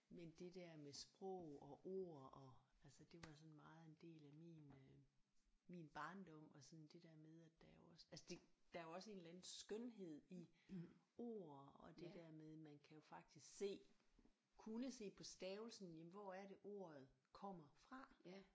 Men det der med sprog og ord og altså det var sådan meget en del af min øh min barndom og sådan det der med at der er jo også altså det der er jo også en eller anden skønhed i ord og det der med man kan jo faktisk se kunne se på stavelsen jamen hvor er det ordet kommer fra